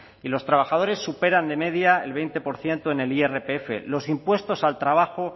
y los trabajadores superan de media el veinte por ciento en el irpf los impuestos al trabajo